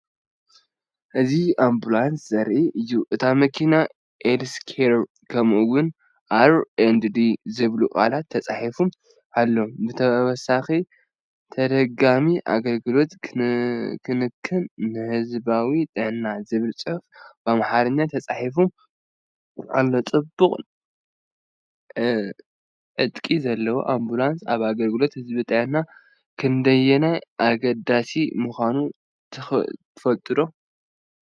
እዚ ኣምቡላንስ ዘርኢ እዩ። እታ መኪና “አልስ ኬር” ከምኡ’ውን “R&D” ዝብሉ ቃላት ተጻሒፋ ኣላ። ብተወሳኺ “ተደጋጋሚ ኣገልግሎት ክንክን ንህዝባዊ ጥዕና” ዝብል ጽሑፍ ብኣምሓርኛ ተጻሒፉሉ ኣሎ። ጽቡቕ ዕጥቂ ዘለዋ ኣምቡላንስ ኣብ ኣገልግሎት ህዝባዊ ጥዕና ክንደየናይ ኣገዳሲት ምዃና ትዝክሩ ዶ?